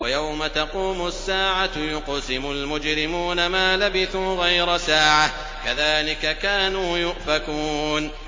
وَيَوْمَ تَقُومُ السَّاعَةُ يُقْسِمُ الْمُجْرِمُونَ مَا لَبِثُوا غَيْرَ سَاعَةٍ ۚ كَذَٰلِكَ كَانُوا يُؤْفَكُونَ